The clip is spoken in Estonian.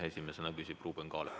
Esimesena küsib Ruuben Kaalep.